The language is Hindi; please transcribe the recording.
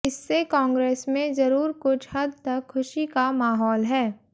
इससे कांग्रेस में जरूर कुछ हद तक खुशी का माहौल है